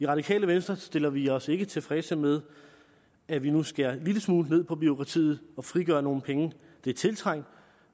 radikale venstre stiller vi os ikke tilfreds med at vi nu skærer en lille smule ned på bureaukratiet og frigør nogle penge det er tiltrængt